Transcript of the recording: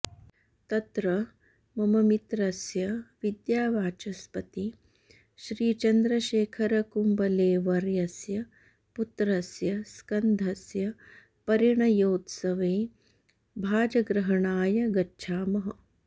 तत्र मम मित्रस्य विद्यावाचस्पतिश्रीचन्द्रशेखरकुम्बलेवर्यस्य पुत्रस्य स्कन्धस्य परिणयोत्सवे भाजग्रहणाय गच्छामः